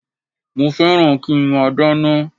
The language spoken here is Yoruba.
Mo fẹ́ràn kí nmá dáná